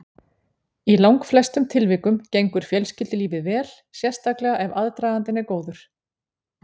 Í langflestum tilvikum gengur fjölskyldulífið vel, sérstaklega ef aðdragandinn er góður.